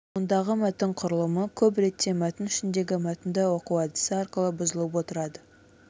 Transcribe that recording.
мұндағы мәтін құрылымы көп ретте мәтін ішіндегі мәтінді оқу әдісі арқылы бұзылып отырады